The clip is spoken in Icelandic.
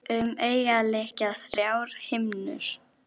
Vera sterk.